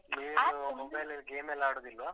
ನೀವು mobile ಅಲ್ಲಿ game ಎಲ್ಲ ಆಡುದಿಲ್ವ?